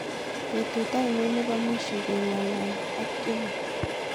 Betut oinon nebo mwisho kengalali ak Jonah